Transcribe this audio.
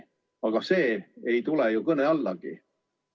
Aga see ei tule ju kõne allagi.